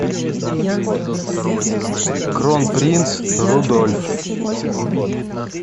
кронпринц рудольф